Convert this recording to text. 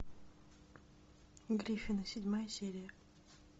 гриффины седьмая серия